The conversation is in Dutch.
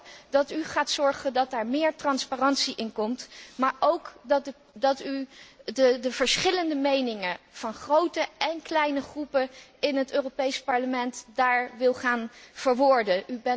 Ik hoop dat u ervoor gaat zorgen dat daarin meer transparantie komt, maar ook dat u de verschillende meningen van de grote en kleine fracties in het Europees Parlement daar wil gaan verwoorden.